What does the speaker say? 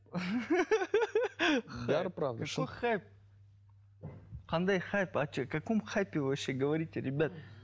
қандай хайп о чем о каком хайпе вообще говорите ребята